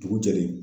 Dugu jɛlen